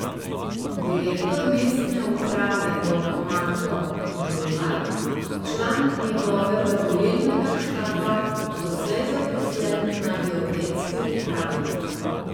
Direktor mestne uprave bo Marko Žula, član njegovega volilnega štaba, doslej zaposlen na geodetski upravi.